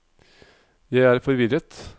jeg er forvirret